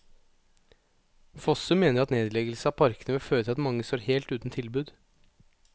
Fossum mener at nedleggelse av parkene vil føre til at mange står helt uten tilbud.